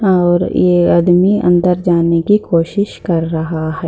और ये आदमी अंदर जाने कि कोशिश कर रहा है।